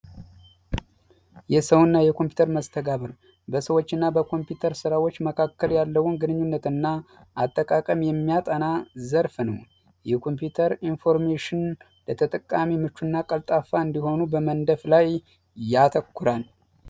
የሰው እና የኮምፒውተር መስተጋብር በሰዎች እና በኮምፒውተር ስራዎች መካከል ያለውን ግንኙነት እና አጠቃቀም የሚያጠና ዘርፍ ነው። የኮምፒውተር ኢንፎርሜሽን ለተጠቃሚ ምቹ እና ቀልጣፋ እንዲሆኑ በመንደፍ ላይ ያተኩራል።